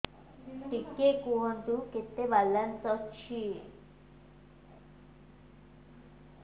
ଟିକେ କୁହନ୍ତୁ କେତେ ବାଲାନ୍ସ ଅଛି